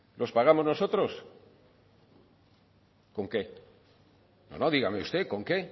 los pagamos nosotros con qué no dígame usted con qué